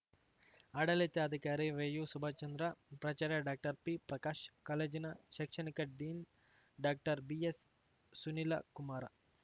ಆಡಳಿತಾಧಿಕಾರಿ ವೈಯುಸುಭಾಶ್ಚಂದ್ರ ಪ್ರಾಚಾರ್ಯ ಡಾಕ್ಟರ್ಪಿಪ್ರಕಾಶ್ ಕಾಲೇಜಿನ ಶೈಕ್ಷಣಿಕ ಡೀನ್‌ ಡಾಕ್ಟರ್ಬಿಎಸ್‌ಸುನಿಲಕುಮಾರ